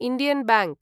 Indian bank